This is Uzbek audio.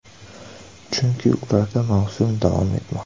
Chunki ularda mavsum davom etmoqda.